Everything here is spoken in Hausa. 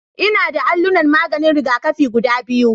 Ina da allunan maganin rigakafi guda biyu